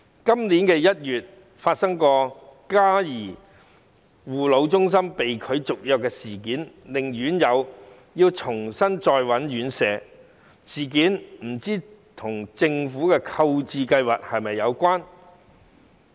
今年1月發生嘉頤護老中心被拒續約的事件，令院友要重新尋找院舍，不知事件與政府的購置計劃是否有關？